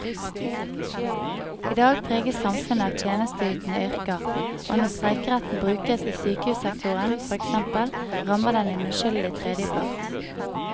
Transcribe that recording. I dag preges samfunnet av tjenesteytende yrker, og når streikeretten brukes i sykehussektoren, for eksempel, rammer den en uskyldig tredjepart.